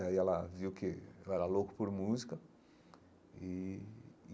Aí ela viu que eu era louco por música e.